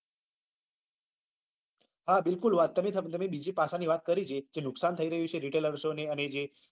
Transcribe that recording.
બીકુલ વાત તમે મને બીજી પાચલ ની વાત કરી તી કે નુકસાન થાય રહ્યું છે